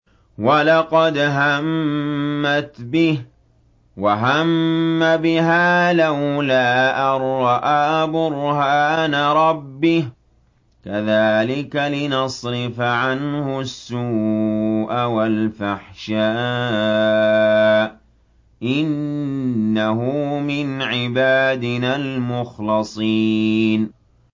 وَلَقَدْ هَمَّتْ بِهِ ۖ وَهَمَّ بِهَا لَوْلَا أَن رَّأَىٰ بُرْهَانَ رَبِّهِ ۚ كَذَٰلِكَ لِنَصْرِفَ عَنْهُ السُّوءَ وَالْفَحْشَاءَ ۚ إِنَّهُ مِنْ عِبَادِنَا الْمُخْلَصِينَ